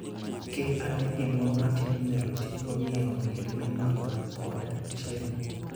Kel ane gimoro matin minyalo tigo e ng'iewo gik mimadho koda chiemo.